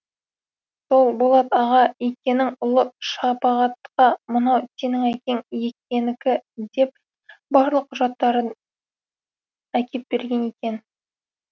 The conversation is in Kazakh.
сол болат аға икенің ұлы шапағатқа мынау сенің әкең икенікі деп барлық құжаттарын деп әкеп берген екен